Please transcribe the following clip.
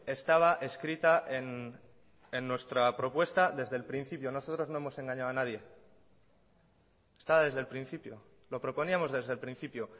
estaba escrita en nuestra propuesta desde el principio nosotros no hemos engañado a nadie está desde el principio lo proponíamos desde el principio